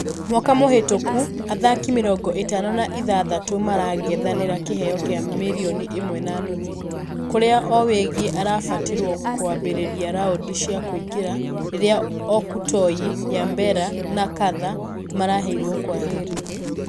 Mwaka mũhĩtũku athaki mĩrongo ĩtano na ithathatũ marangethanĩire kĩheo gĩa mirioni ĩmwe na nuthu. Kũrĩa owegi arabatirwo kũambĩrĩria raundi cia kũingĩra rĩrĩa okutoyi, nyabera na nkatha maraheirwo kwaheri..